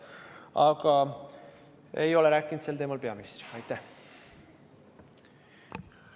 Aga sel teemal ma peaministriga rääkinud ei ole.